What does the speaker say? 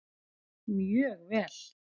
Mjög vel!